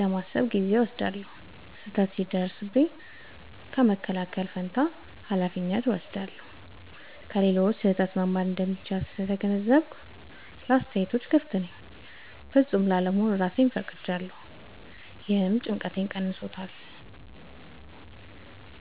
ለማሰብ ጊዜ እወስዳለሁ። · ስህተት ሲደርስብኝ በመከላከል ፋንታ ኃላፊነት እወስዳለሁ። · ከሌሎች ስህተት መማር እንደሚቻል ስለተገነዘብኩ ለአስተያየት ክፍት ነኝ። · ፍጹም ላለመሆን እራሴን ፈቅጄለታለሁ — ይህም ጭንቀቴን ቀንሷል።